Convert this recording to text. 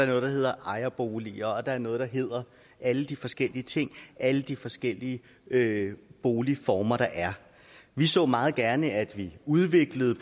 noget der hedder ejerboliger og der er noget der hedder alle de forskellige ting alle de forskellige boligformer der er vi så meget gerne at vi udviklede